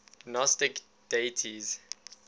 gnostic deities